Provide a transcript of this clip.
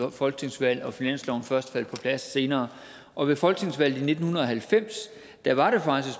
et folketingsvalg og at finansloven først faldt på plads senere og ved folketingsvalget i nitten halvfems var det faktisk